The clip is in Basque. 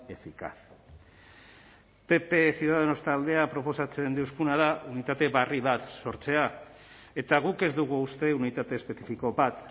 eficaz pp ciudadanos taldeak proposatzen deuzkuna da unitate berri bat sortzea eta guk ez dugu uste unitate espezifiko bat